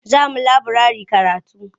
Za mu laburare karatu.